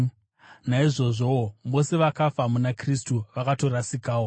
Naizvozvowo vose vakafa muna Kristu vakatorasikawo.